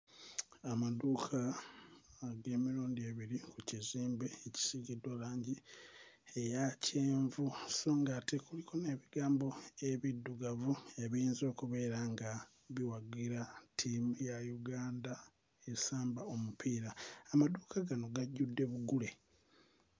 Amaduuka uh bya mirundi ebiri ku kizimbe ekisiigiddwa langi eya kyenvu so ng'ate kuliko n'ebigambo ebiddugavu ebiyinza okubeera nga biwagira ttiimu ya Uganda esamba omupiira amaduuka gano gajjudde bugule.